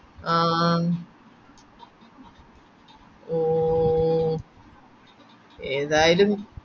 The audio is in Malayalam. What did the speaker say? ആഹ് ഓ ഏതായാലും